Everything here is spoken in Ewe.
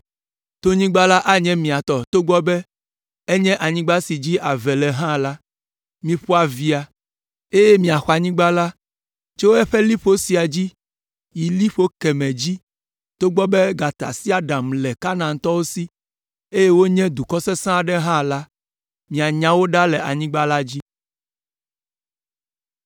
Tonyigba la anye mia tɔ togbɔ be enye anyigba si dzi ave le hã la, miƒo avea, eye miaxɔ anyigba la tso eƒe liƒo sia dzi yi liƒo kemɛ dzi togbɔ be gatasiaɖamwo le Kanaantɔwo si, eye wonye dukɔ sesẽ aɖe hã la, mianya wo ɖa le anyigba la dzi.”